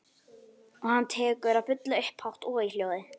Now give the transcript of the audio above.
Og hann tekur að bulla upphátt og í hljóði.